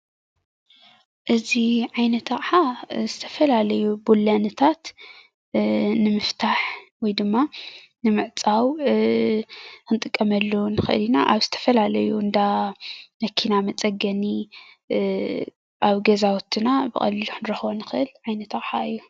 እዚ ዓይነት ኣቕሓ ዝተፈላለዩ ብሎንታት ንምፍታሕ ወይ ድማ ንምዕፃዉ ክንጥቀመሉ ንክእል ኢና ኣብ ዝተፈላለዪ እንዳ መኪና መፅገኒ ኣብ ገዛዉትና ብቀሊሉ ክንረክቦ ንክእል ዓይነት ኣቕሓ እዩ።